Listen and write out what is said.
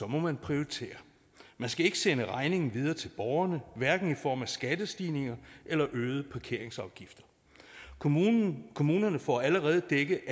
må man prioritere man skal ikke sende regningen videre til borgerne hverken i form af skattestigninger eller øgede parkeringsafgifter kommunerne kommunerne får allerede dækket